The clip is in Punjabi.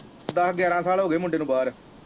ਦੱਸ ਗਿਆਰਾਂ ਸਾਲ ਹੋ ਗਏ ਮੁੰਡੇ ਨੂੰ ਬਾਹਰ।